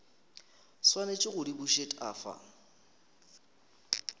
swanetše go di bušet afa